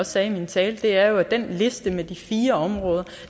sagde i min tale er at listen med de fire områder